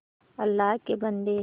अल्लाह के बन्दे